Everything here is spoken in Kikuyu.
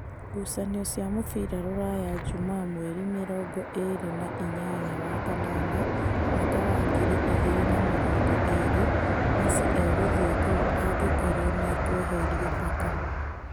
Ngucanio cia mũbira Rūraya Jumaa mweri mĩrongo ĩrĩ na inyanya wa kanana mwaka wa ngiri igĩrĩ na mĩrongo ĩrĩ. Mesi egũthiĩ kũũ angĩkorwo nĩekũeherio Mbaka ?